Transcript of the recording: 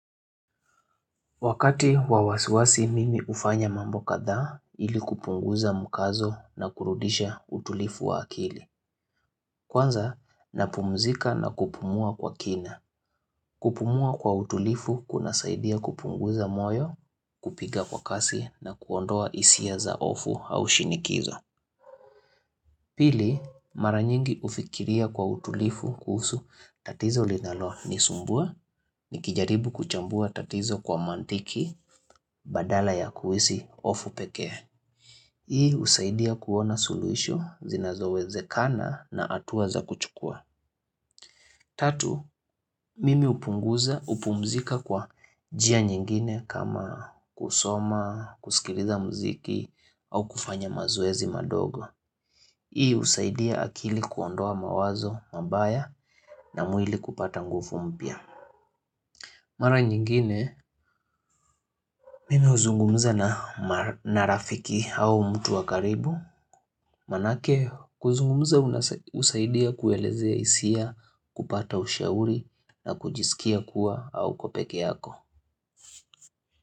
Wakati wa wasiwasi mimi hufanya mambo kadhaa ili kupunguza mkazo na kurudisha utulivu wa akili. Kwanza, napumzika na kupumua kwa kina. Kupumua kwa utulivu kunasaidia kupunguza moyo kupiga kwa kasi na kuondoa hisia za ofu au shinikizo. Pili, mara nyingi hufikiria kwa utulivu kuhusu tatizo linalonisumbua, nikijaribu kuchambua tatizo kwa mantiki, badala ya kuhisi hofu pekee. Hii husaidia kuona suluhisho zinazowezekana na hatua za kuchukua. Tatu, mimi hupunguza kupumzika kwa njia nyingine kama kusoma, kusikiliza muziki au kufanya mazoezi madogo. Hii husaidia akili kuondoa mawazo mabaya na mwili kupata nguvu mpya. Mara nyingine, mimi huzungumza na rafiki au mtu wa karibu. Maanake, kuzungumza husaidia kuelezea hisia, kupata ushauri na kujisikia kuwa hauko peke yako.